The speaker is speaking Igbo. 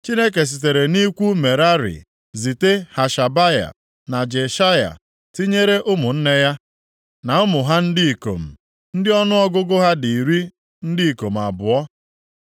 Chineke sitere nʼikwu Merari zite Hashabaya, na Jeshaya, tinyere ụmụnne ya na ụmụ ha ndị ikom, ndị ọnụọgụgụ ha dị iri ndị ikom abụọ (20).